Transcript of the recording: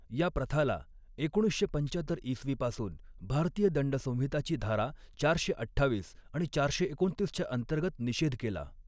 या प्रथाला एकोणीसशे पंचातर ईसवी पासून भारतीय दंड संहिताची धारा चारशे अठ्ठावीस आणि चारशे एकोणतीसच्या अन्तर्गत निषेध केला.